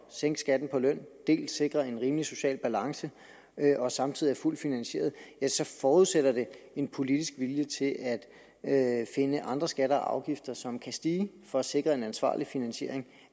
sænke skatten på løn dels sikrer en rimelig social balance og samtidig er fuldt finansieret så forudsætter det en politisk vilje til at at finde andre skatter og afgifter som kan stige for at sikre en ansvarlig finansiering